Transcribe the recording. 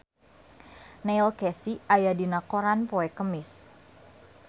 Neil Casey aya dina koran poe Kemis